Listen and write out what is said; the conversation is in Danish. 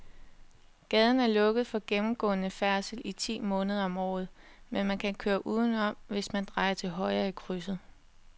Gaden er lukket for gennemgående færdsel ti måneder om året, men man kan køre udenom, hvis man drejer til højre i krydset.